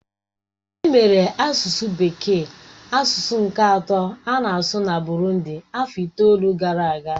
Emere asụsụ bekee asụsụ nke atọ a na-asụ na Burundị afọ itoolu gara aga.